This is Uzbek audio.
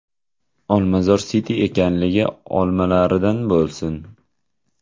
Olmazor City ekanligi olmalaridan bo‘lsin.